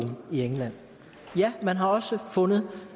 i england ja man har også fundet